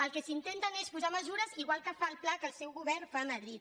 el que s’intenta és posar mesures igual que fa el pla que el seu govern fa a madrid